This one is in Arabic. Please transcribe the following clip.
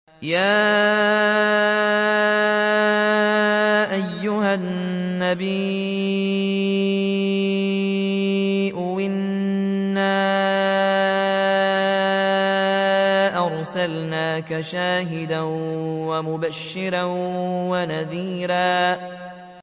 يَا أَيُّهَا النَّبِيُّ إِنَّا أَرْسَلْنَاكَ شَاهِدًا وَمُبَشِّرًا وَنَذِيرًا